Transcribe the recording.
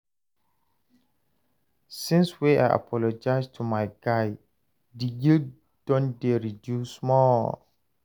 Since wey I apologize to my guy, di guilt don dey reduce small.